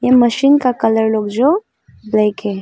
इन machine का colour लोग जो ब्लैक है।